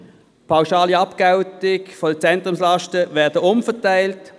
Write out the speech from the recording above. Die pauschale Abgeltung der Zentrumslasten wird umverteilt.